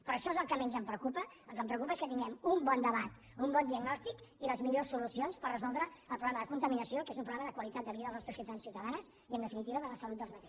però això és el que menys em preocupa el que em preocupa és que tinguem un bon debat un bon diagnòstic i les millors solucions per resoldre el problema de contaminació que és un problema de qualitat de vida dels nostres ciutadans i ciutadanes i en definitiva de la seva salut